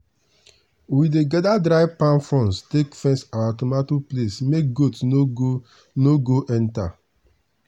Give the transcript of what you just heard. we dey gather dry palm fronds take fence our tomato place make goat no go no go enter.